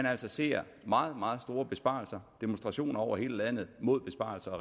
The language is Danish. altså ser meget meget store besparelser og demonstrationer over hele landet mod besparelserne